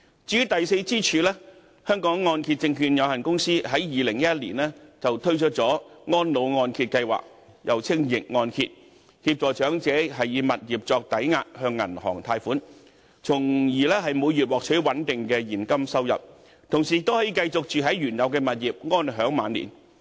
至於第四支柱，香港按揭證券有限公司在2011年推出安老按揭計劃協助長者以物業作抵押，向銀行貸款，從而每月獲取穩定的現金收入，同時亦可以繼續居住在原有物業，安享晚年。